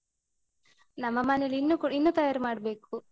ನಮ್ಮ ಮನೇಲಿ ಇನ್ನು ಕೂಡ ಇನ್ನು ತಯಾರು ಮಾಡ್ಬೇಕು.